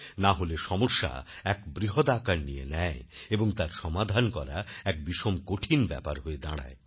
নাহলে সমস্যা এক বৃহদাকার নিয়ে নেয় এবং তার সমাধান করা এক বিষম কঠিন ব্যাপার হয়ে দাঁড়ায়